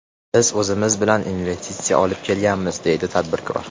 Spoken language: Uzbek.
Biz o‘zimiz bilan investitsiya olib kelamiz”, deydi tadbirkor.